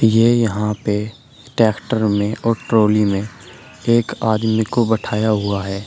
ये यहां पे ट्रैक्टर में और ट्रॉली में एक आदमी को बैठाया हुआ है।